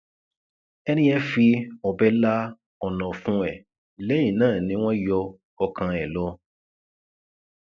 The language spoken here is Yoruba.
ẹni yẹn fi ọbẹ la ọnà ọfun ẹ lẹyìn náà ni wọn yọ ọkàn ẹ lọ